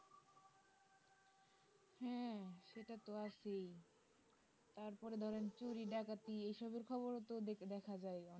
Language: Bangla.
হ্যাঁ সেটা তো আছেই তার পরে ধরেন চুরি ডাকাতি এই সবের খবর ও তো দেখ দেখা যাই